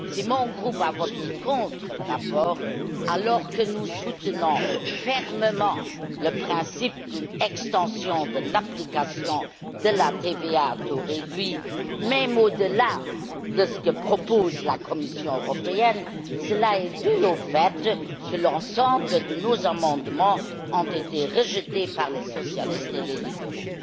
Si mon groupe a voté contre ce rapport, alors que nous soutenons fermement le principe d'une extension de l'application de la TVA à taux réduit même au delà de ce que propose la Commission européenne, cela est dû au fait que l'ensemble de nos amendements ont été rejetés par les socialistes et les libéraux.